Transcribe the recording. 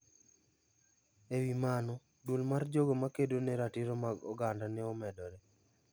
Ewi mano, duol mar jogo makedo ne ratiro mag oganda ne omedore.